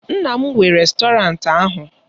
Nne m nwe rèstọrantị ahụ